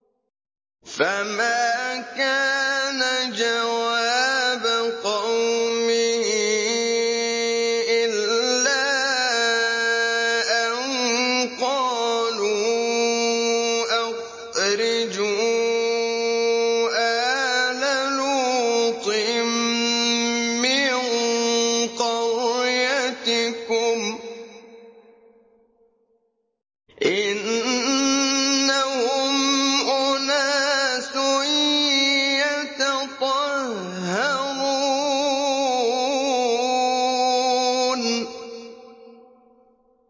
۞ فَمَا كَانَ جَوَابَ قَوْمِهِ إِلَّا أَن قَالُوا أَخْرِجُوا آلَ لُوطٍ مِّن قَرْيَتِكُمْ ۖ إِنَّهُمْ أُنَاسٌ يَتَطَهَّرُونَ